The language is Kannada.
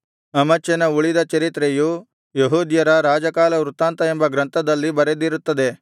ಅಮಚ್ಯನ ಉಳಿದ ಚರಿತ್ರೆಯು ಯೆಹೂದ್ಯರ ರಾಜಕಾಲವೃತ್ತಾಂತ ಎಂಬ ಗ್ರಂಥದಲ್ಲಿ ಬರೆದಿರುತ್ತದೆ